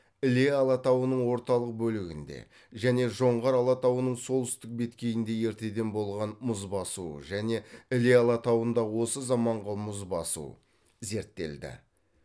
іле алатауының орталық бөлігінде және жоңғар алатауының солтүстік беткейінде ертеден болған мұз басу және іле алатауындағы осы заманғы мұз басу зерттелді